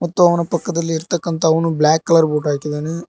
ಮತ್ತು ಅವನ ಪಕ್ಕದಲ್ಲಿ ಇರ್ತಕಂತ ಅವನು ಬ್ಲಾಕ್ ಕಲರ್ ಉಟ್ ಹಾಕಿದ್ದಾನೆ.